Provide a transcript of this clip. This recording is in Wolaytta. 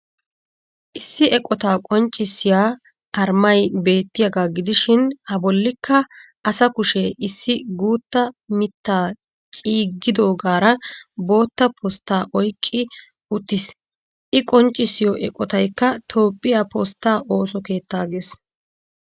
Issi eqotaa qonccissiya armay beettiyaagaa gidishin a bollikka asa kushe issi guutta mittaa ciggidoogaara bootta postaa oyqqi uttiis. I qonccissiyo eqotaykka toophphiya postaa ooso keettaa gees.